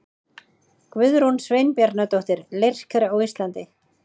Guðrún Sveinbjarnardóttir, Leirker á Íslandi.